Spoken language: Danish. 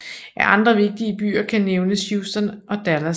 Af andre vigtige byer kan nævnes Houston og Dallas